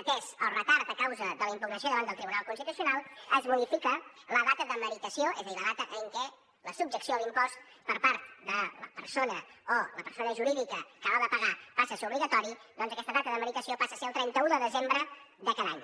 atès el retard a causa de la impugnació davant del tribunal constitucional es modifica la data de meritació és a dir la data en què la subjecció a l’impost per part de la persona o la persona jurídica que l’ha de pagar passa a ser obligatori doncs aquesta data de meritació passa a ser el trenta un de desembre de cada any